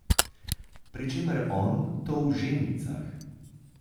Pri čemer on to v žemljicah.